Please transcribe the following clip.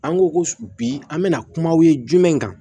An ko ko bi an bɛna kumaw ye jumɛn kan